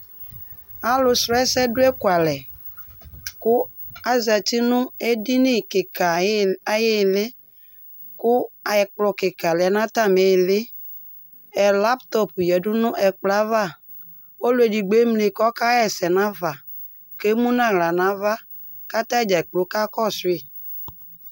Alʋsʋɛsɛ dʋ ekualɛ kʋ azati nʋ edini kɩka ayɩ ayʋ ɩɩlɩ kʋ ɛkplɔ kɩka lɛ nʋ atamɩ ɩɩlɩ Laptɔp yǝdu nʋ ɛkplɔ yɛ ava kʋ ɔlʋ edigbo emli kʋ ɔkaɣa ɛsɛ nafa kʋ emu nʋ aɣla nʋ ava kʋ ata dza kplo kakɔsʋ yɩ